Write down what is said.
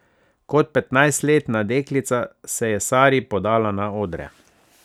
Kot petnajstletna deklica se je Sari podala na odre.